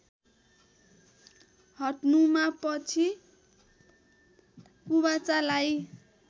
हट्नुमा पछि कुबाचालाई